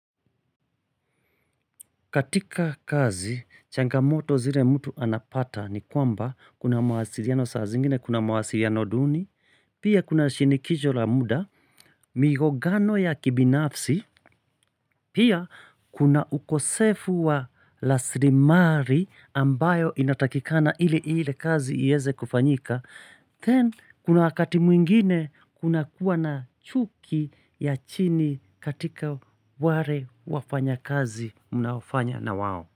Katika kazi, changamoto zile mtu anapata ni kwamba kuna mawasiliano saa zingine, kuna mawasiliano duni, pia kuna shinikizo la muda, migogano ya kibinafsi, pia kuna ukosefu wa raslimari ambayo inatakikana ili ile kazi yeze kufanyika. Then, kuna wakati mwingine kuna kuwa na chuki ya chini katika wale wafanya kazi mnaofanya na wao.